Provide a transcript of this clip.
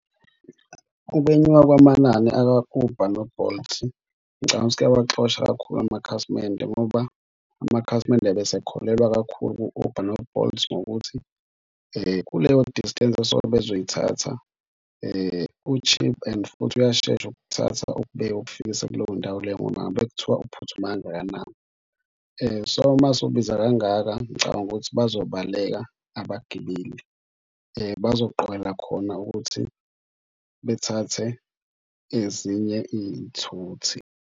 Ukwenyuka kwamanani aka-Uber no-Bolt ngicabanga ukuthi kuyawaxosha kakhulu amakhasimende ngoba amakhasimende abesekholelwa kakhulu ku-Uber no-Bolt ngokuthi kuleyo distance esuke bezoyithatha u-cheap and futhi uyashesha ukuthatha ukubeke ukufikisa kuleyo ndawo leyo noma ngabe kuthiwa uphuthuma kangakanani. So, mase ubiza kangaka ngicabanga ukuthi bazobaleka abagibeli bazoqokela khona ukuthi bathathe ezinye iy'thuthi.